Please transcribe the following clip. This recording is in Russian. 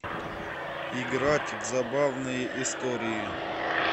играть в забавные истории